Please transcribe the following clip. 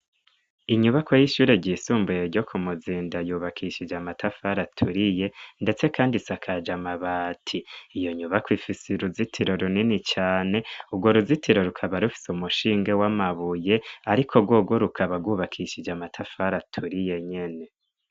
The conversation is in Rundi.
Inyubako y'ishure ryisumbuye ryo ku Muzinda yubakishije amatafara aturiye, ndetse, kandi siakaja amabati iyo nyubako ifise i ruzitiro runini cane urwo ruzitiro rukaba rufise umushinge w' amabuye, ariko rworwo rukaba gwubakishije amatafara aturi ye nyene.